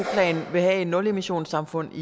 plan vil have et nulemissionssamfund i